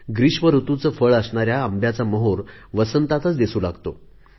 ग्रीष्म ऋतूचे फळ असणाऱ्या आंब्याचा मोहोर वसंतातच दिसू लागतो